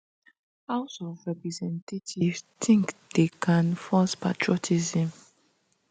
house of representatives think they can force patriotism